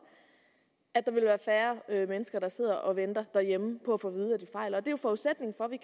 at der vil være færre mennesker der sidder og venter derhjemme på at få